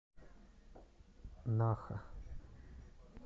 наха